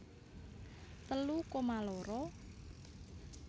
telu koma loro